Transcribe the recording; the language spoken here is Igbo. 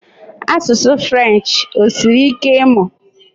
Asụsụ French, osiri ike ịmụ?